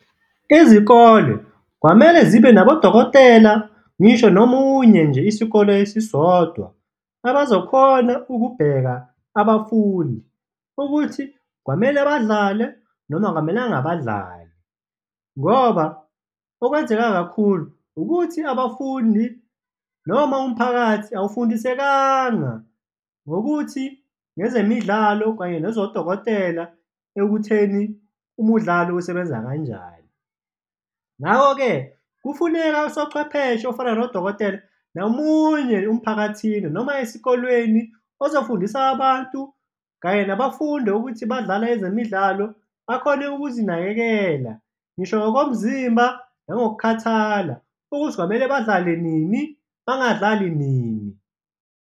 Izikole kwamele zibe nabodokotela ngisho nomunye nje isikolo esisodwa, abazokhona ukubheka abafundi ukuthi kwamele badlale noma kwamelanga badlale ngoba okwenzeka kakhulu ukuthi abafundi noma umphakathi awufundisekanga ngokuthi, ngezemidlalo kanye nezodokotela ekutheni umudlalo usebenza kanjani. Ngako-ke, kufuneka usochwepheshe ofana nodokotela nomunye emphakathini noma esikolweni, ozofundisa abantu kanye nabafundi ukuthi badlala ezemidlalo, bakhone ukuzinakekela, ngisho ngokomzimba nangokukhathala ukuthi kwamele badlale nini, bangadlali nini.